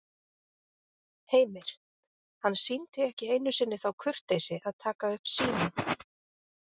Heimir: Hann sýndi ekki einu sinni þá kurteisi að taka upp símann?